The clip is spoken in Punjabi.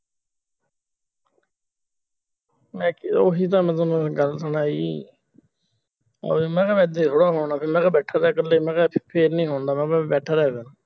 ਮੈਂ ਉਹੀ ਗੱਲ ਗੱਲ ਸੁਣ ਆਈ ਆਹ ਵੇਖ ਮੈਂ ਕਿਹਾ ਦੇ ਦੋ ਹੁਣ ਕਿੰਨਾ ਚਿਰ ਬੈਠਾ ਤੇ ਇਕੱਲੇ ਮੈਂ ਕਿਹਾ ਫੇਰ ਨੀ ਆਉਣਾ ਮੈਂ ਕਹਿ ਬੈਠਾ ਰਹਿ